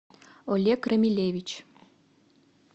олег рамилевич